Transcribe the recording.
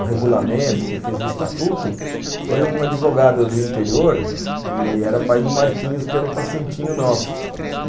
o regulamento, que fez o estatuto, foi um advogado do interior, que era pai do Marquinhos, que era um pacientinho nosso.